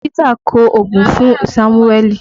Dókítà kọ ògùn fún Sámúẹ́lì